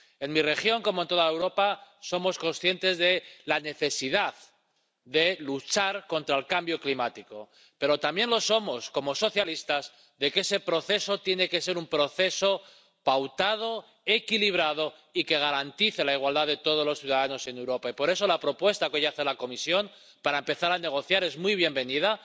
En mi región, como en toda Europa, somos conscientes de la necesidad de luchar contra el cambio climático, pero también lo somos, como socialistas, de que ese proceso tiene que ser un proceso pautado, equilibrado y que garantice la igualdad de todos los ciudadanos en Europa. Y por eso la propuesta que hoy hace la Comisión para empezar a negociar es muy bienvenida.